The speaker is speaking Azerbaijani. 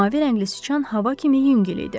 Mavi rəngli sıçan hava kimi yüngül idi.